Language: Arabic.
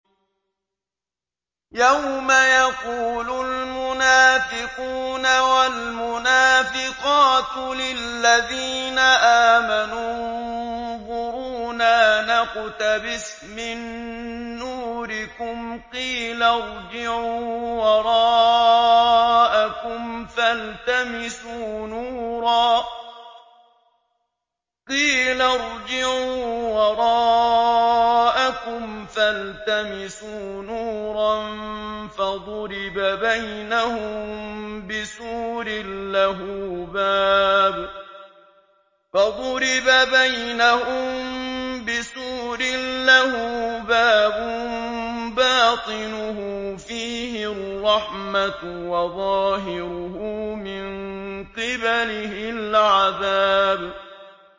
يَوْمَ يَقُولُ الْمُنَافِقُونَ وَالْمُنَافِقَاتُ لِلَّذِينَ آمَنُوا انظُرُونَا نَقْتَبِسْ مِن نُّورِكُمْ قِيلَ ارْجِعُوا وَرَاءَكُمْ فَالْتَمِسُوا نُورًا فَضُرِبَ بَيْنَهُم بِسُورٍ لَّهُ بَابٌ بَاطِنُهُ فِيهِ الرَّحْمَةُ وَظَاهِرُهُ مِن قِبَلِهِ الْعَذَابُ